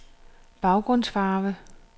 baggrundsfarve